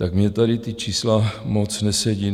Tak mně tady ta čísla moc nesedí.